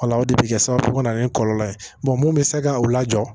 Wala o de bɛ kɛ sababu ye ka na ni kɔlɔlɔ ye mun bɛ se ka o lajɔ